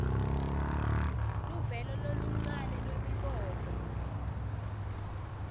luvelo loluncane lwemibono